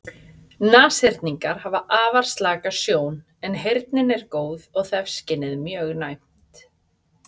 Nashyrningar hafa afar slaka sjón en heyrnin er góð og þefskynið mjög næmt.